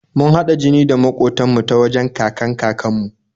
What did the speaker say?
Mun haɗa jini da maƙotan mu ta wajen kakan-kakan mu